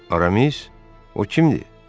Aramis, o kimdir?